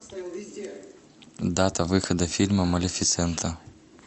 дата выхода фильма малефисента